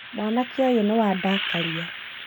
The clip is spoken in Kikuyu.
Mwanake ũyũ nĩ wandakaria